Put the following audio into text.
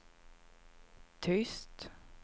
tyst